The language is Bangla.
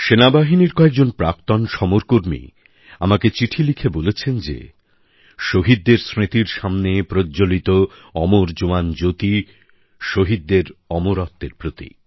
সেনাবাহিনীর প্রাক্তন কিছু সমরকর্মী আমাকে চিঠি লিখে বলেছেন যে শহীদদের স্মৃতির সামনে প্রজ্জ্বলিত অমর জওয়ান জ্যোতি শহীদদের অমরত্বের প্রতীক